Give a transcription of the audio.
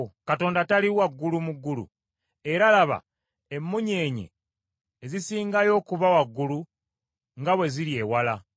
“Katonda tali waggulu mu ggulu? Era laba, emmunyeenye ezisingayo okuba waggulu, nga bwe ziri ewala!